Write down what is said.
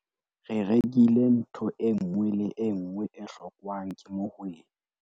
re rekile ntho e nngwe le e nngwe e hlokwang ke mohwebi